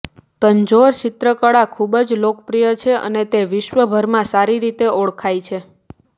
તંજોર ચિત્રકળા ખુબ જ લોકપ્રિય છે અને તે વિશ્વભરમાં સારી રીતે ઓળખાય છે